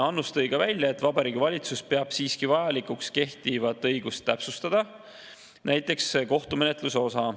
Annus tõi ka välja, et Vabariigi Valitsus peab siiski vajalikuks kehtivat õigust täpsustada, näiteks kohtumenetluse osa.